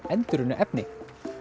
endurunnu efni